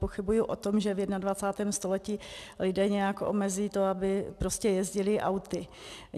Pochybuji o tom, že v 21. století lidé nějak omezí to, aby prostě jezdili auty.